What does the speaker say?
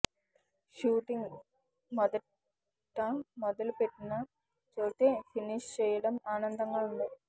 shooting మొదట మొదలు పెట్టిన చోటే ఫినిష్ చెయ్యడం ఆనందంగా ఉంది